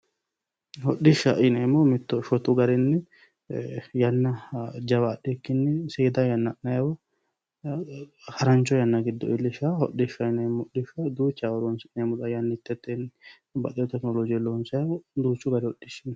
hodhishshaho yineemmohu mitto shotu garinni yanna jawa adhikkinni seeda yanna ha'nanniwa harancho yanna giddo iillishannoha hodhishaho yineemmo hodhishsha duuchawa horonsi'neemmota yannitete tekinolojenni loonsoonniho duuchu gari hodhishshi no.